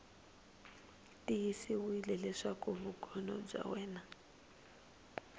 tiyisisiwile leswaku vugono bya wena